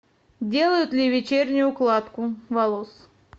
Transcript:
делают ли вечернюю укладку волос